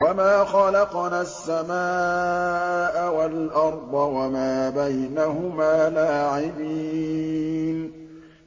وَمَا خَلَقْنَا السَّمَاءَ وَالْأَرْضَ وَمَا بَيْنَهُمَا لَاعِبِينَ